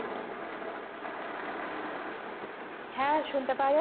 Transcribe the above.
হ্যাঁ সুনতে পাওয়া